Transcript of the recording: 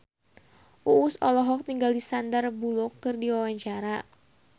Uus olohok ningali Sandar Bullock keur diwawancara